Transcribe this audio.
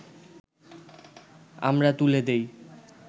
আমরা তুলে দিই